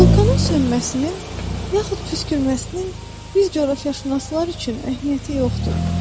Vulkanın sönməsinin yaxud püskürməsinin bir coğrafiyaşünaslar üçün əhəmiyyəti yoxdur.